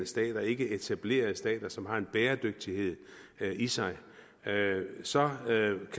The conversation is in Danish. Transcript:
stater ikkeetablerede stater som ikke har en bæredygtighed i sig så